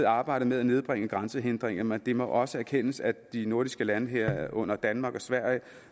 arbejdet med at nedbringe grænsehindringer men det må også erkendes at de nordiske lande herunder danmark og sverige